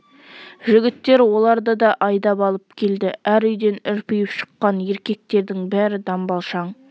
жігіттер оларды да айдап алып келді әр үйден үрпиіп шыққан еркектердің бәрі дамбалшаң